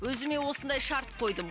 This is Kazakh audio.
өзіме осындай шарт қойдым